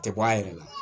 Tɛ bɔ a yɛrɛ la